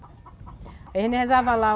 A gente rezava lá.